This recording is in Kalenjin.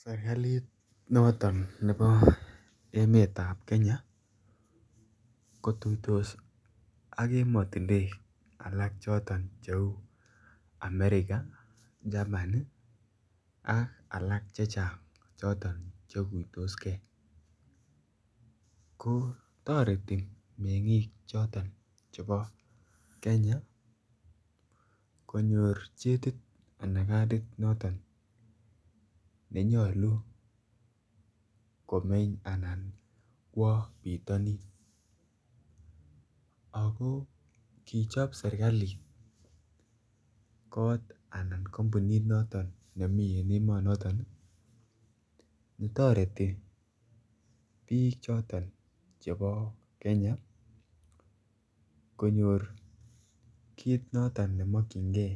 Serkalit noton nebo emetab Kenya ko tuitos ak emotinwek alak choton che uu america, Germany ak alak chechang choton che guitosgee ko toreti mengik choton chebo Kenya konyor chetit ana cardit noton nenyoluu komeny ana kwo pitanin ako kichob serkalit kot anan kompunit noton nemii en emonoton ne toreti biik choton chebo Kenya konyor kit noton nemokyingee